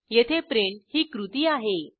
येथे प्रिंट ही कृती आहे